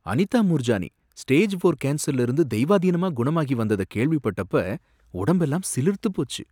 Anitha Moorjani stage four கேன்சர்ல இருந்து தெய்வாதீனமா குணமாகி வந்தத கேள்விப்பட்டப்ப உடம்பெல்லாம் சிலிர்த்துப்போச்சு.